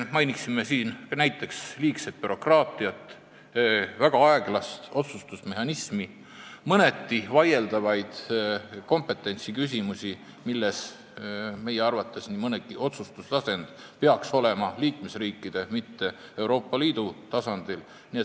Mainiksin näiteks liigset bürokraatiat, väga aeglast otsustusmehhanismi ja mõneti vaieldavaid kompetentsiküsimusi – meie arvates nii mõnigi otsustus peaks tehtama liikmesriikide, mitte Euroopa Liidu tasandil.